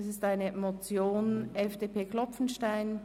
Es handelt sich um eine Motion der FDP von Grossrat Klopfenstein.